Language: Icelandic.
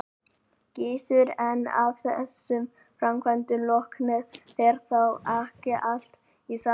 Gissur: En af þessum framkvæmdum loknum, fer þá ekki allt í samt lag?